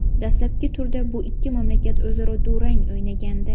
Dastlabki turda bu ikki mamlakat o‘zaro durang o‘ynagandi.